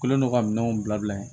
Kelen do ka minɛnw bila bila ye